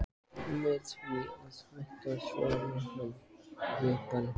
Með því að hætta, svaraði hann: Ég bara hætti.